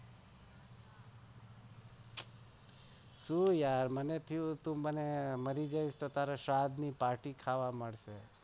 શૂ યાર તું મારી જઈશ તો તારા શ્રાદ્ધ ની party ખાવા મળશે.